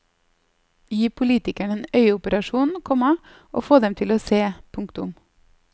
Gi politikerne en øyeoperasjon, komma og få dem til å se. punktum